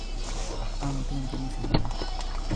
Amutin kaniset nyo.